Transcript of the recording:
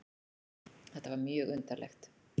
Þetta var mjög undarlegt.